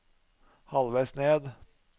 halvveis ned